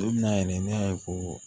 Don min na yɛrɛ ne y'a ye ko